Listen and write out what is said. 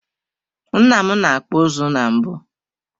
Nna m na-akpụ ụzụ na mbụ.